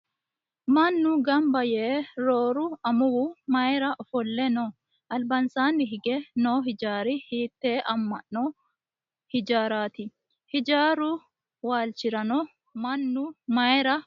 Mannu gamba yee rooru amuwu mayiira ofolle noo? Albaansaanni hige noo hijaari hiitte ama'no hijaarati? Hijaaru waalchirano mannu mayiira uurrino?